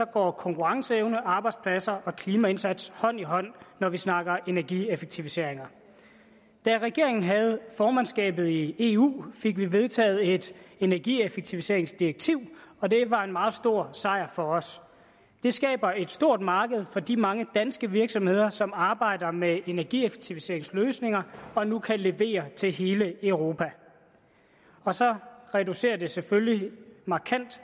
går konkurrenceevne arbejdspladser og klimaindsats hånd i hånd når vi snakker energieffektiviseringer da regeringen havde formandskabet i eu fik vi vedtaget et til energieffektiviseringsdirektiv og det var en meget stor sejr for os det skaber et stort marked for de mange danske virksomheder som arbejder med energieffektiviseringsløsninger og nu kan levere til hele europa og så reducerer det selvfølgelig markant